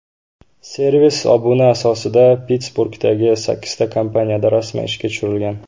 Servis obuna asosida Pittsburgdagi sakkizta kompaniyada rasman ishga tushirilgan.